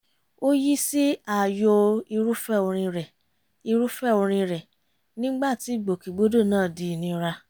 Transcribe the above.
ó yí sí ààyò irúfẹ́ orin rẹ̀ irúfẹ́ orin rẹ̀ nígbà tí ìgbòkègbodò náà di ìnira